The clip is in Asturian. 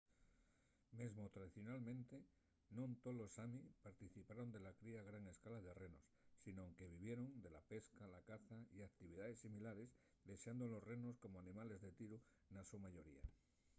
mesmo tradicionalmente non tolos sami participaron de la cría a gran escala de renos sinón que vivieron de la pesca la caza y actividaes similares dexando los renos como animales de tiru na so mayoría